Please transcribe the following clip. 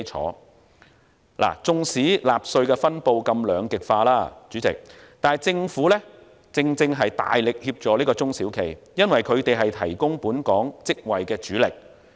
主席，縱使納稅分布如此兩極化，政府正大力協助中小企，因為他們是提供本港職位的主力。